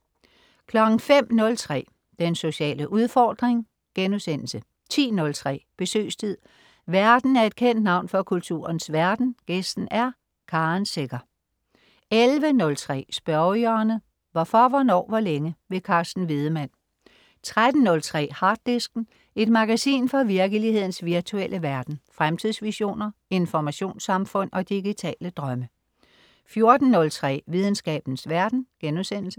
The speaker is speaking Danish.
05.03 Den sociale udfordring* 10.03 Besøgstid. Værten er et kendt navn fra kulturens verden, gæsten er Karen Secher 11.03 Spørgehjørnet. Hvorfor, hvornår, hvor længe? Carsten Wiedemann 13.03 Harddisken. Et magasin fra virkelighedens virtuelle verden. Fremtidsvisioner, informationssamfund og digitale drømme 14.03 Videnskabens verden*